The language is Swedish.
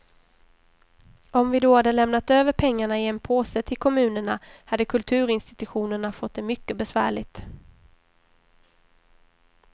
Om vi då hade lämnat över pengarna i en påse till kommunerna hade kulturinstitutionerna fått det mycket besvärligt.